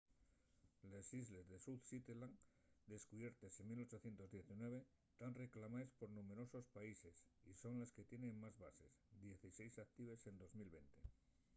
les islles south shetland descubiertes en 1819 tán reclamaes por numberosos paises y son les que tienen más bases dieciséis actives en 2020